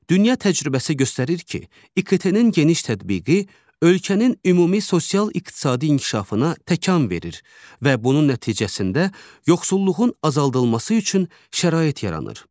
Dünya təcrübəsi göstərir ki, İKT-nin geniş tətbiqi ölkənin ümumi sosial-iqtisadi inkişafına təkan verir və bunun nəticəsində yoxsulluğun azaldılması üçün şərait yaranır.